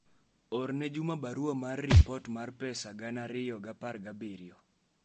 orne juma barua mar ripor mar pesa gana ariyo gi apar gi abiriyo